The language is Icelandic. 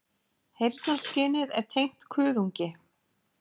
Heyrnarskynið er tengt kuðungi.